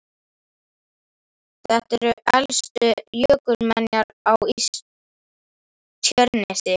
Þetta eru elstu jökulmenjar á Tjörnesi.